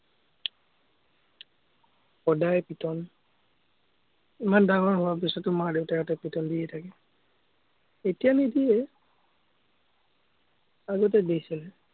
সদায় পিটন। ইমান ডাঙৰ হোৱাৰ পাছতো মা-দেউতাহঁতে পিটন দিয়ে থাকে। এতিয়া নিদিয়ে। আগতে দিছিলে।